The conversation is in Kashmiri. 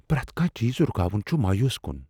پرٮ۪تھ کانٛہہ چیز رکاون چھ مایوس کن۔